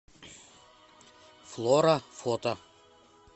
флора фото